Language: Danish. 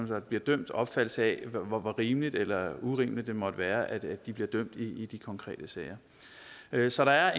der bliver dømt opfattelsen af hvor rimeligt eller urimeligt det måtte være at det er at de bliver dømt i de konkrete sager så der er